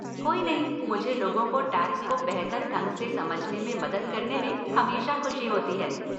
कोई नहीं, मुझे लोगों को टैक्स को बेहतर ढंग से समझने में मदद करने में हमेशा खुशी होती है।